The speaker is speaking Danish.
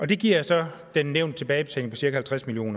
det giver så den nævnte tilbagebetaling på cirka halvtreds million